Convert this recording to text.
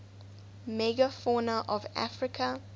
megafauna of africa